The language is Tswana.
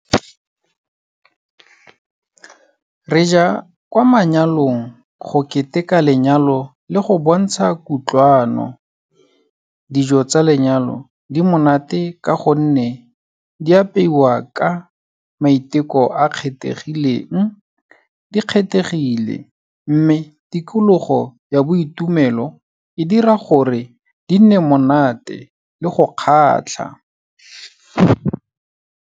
Re ja kwa manyalong go keteka lenyalo le go bontsha kutlwano. Dijo tsa lenyalo di monate ka gonne di apeiwa ka maiteko a kgethegileng, di kgethegile, mme tikologo ya boitumelo e dira gore di nne monate le go kgatlha.